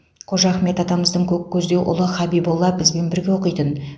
қожа ахмет атамыздың көккөздеу ұлы хабиболла бізбен бірге оқитын